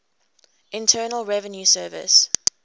internal revenue service